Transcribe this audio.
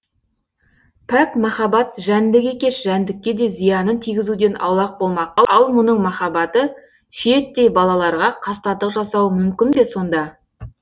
пәк махаббат жәндік екеш жәндікке де зиянын тигізуден аулақ болмақ ал мұның махаббаты шиеттей балаларға қастандық жасауы мүмкін бе сонда